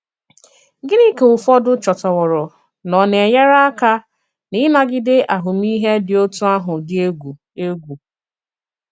Gịnị ka ụfọdụ chòtàwòrò na ọ na-enyère àka n’ịnagìdé àhụ̀mìhè dị otú àhụ̀ dị ègwù? ègwù?